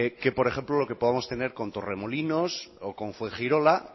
que por ejemplo lo que podemos tener con torremolinos o con fuengirola